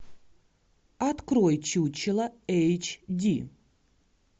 открой чучело эйч ди